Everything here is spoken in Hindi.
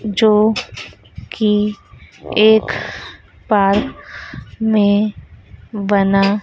जो की एक बार में बना--